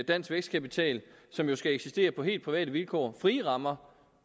dansk vækstkapital som jo skal eksistere på helt private vilkår frie rammer